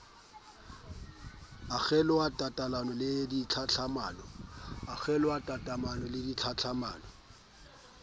ho kgeloha tatelano ya tlhahlamano